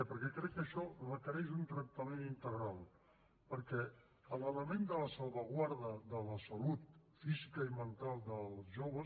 perquè crec que això requereix un tractament integral perquè l’element de la salvaguarda de la salut física i mental dels joves